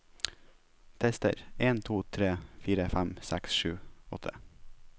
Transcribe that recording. Tester en to tre fire fem seks sju åtte